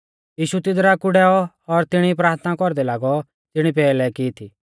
यीशु तीदरा कु डैऔ और तिणी प्राथना कौरदै लागौ ज़िणी पैहलै की थी